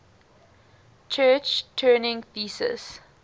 church turing thesis